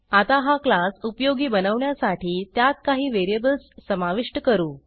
आता हा क्लास उपयोगी बनवण्यासाठी त्यात काही व्हेरिएबल्स समाविष्ट करू